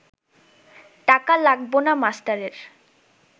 টাকা লাগব না মাস্টারের